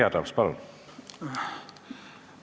Jüri Adams, palun!